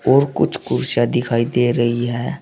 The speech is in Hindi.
और कुछ कुर्सियां दिखाई दे रही है।